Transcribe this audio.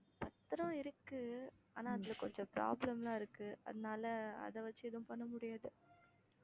பத்திரம் இருக்கு ஆனா அதுல கொஞ்சம் problem லாம் இருக்கு அதனால அதை வச்சு எதுவும் பண்ண முடியாது